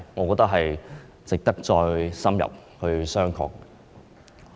我認為值得深入商榷。